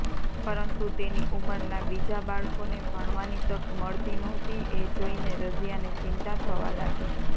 પરંતુ તેની ઉંમરના બીજા બાળકોને ભણવાની તક મળતી નહોતી એ જોઈને રઝિયાને ચિંતા થવા લાગી